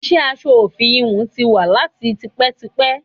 Iṣẹ́ aṣọ òfì íhùn tí wà láti tipẹ́tipẹ́.